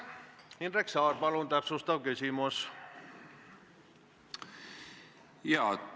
Indrek Saar, palun täpsustav küsimus!